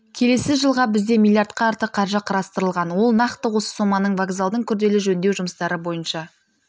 келесі жылға бізде миллиардқа артық қаржы қарастырылған ол нақты осы соманың вокзалдың күрделі жөндеу жұмыстары бойынша